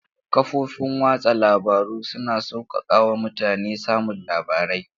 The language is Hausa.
Kafofin watsa labaru suna sauƙaƙa wa mutane samun labarai.